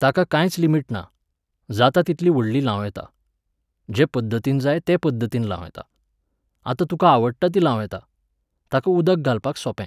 ताका कांयच लिमीट ना. जाता तितली व्हडलीं लावं येता. जे पद्दतीन जाय ते पद्दतीन लावं येता. आनी तुका आवडटा तीं लावं येता. ताका उदक घालपाक सोंपें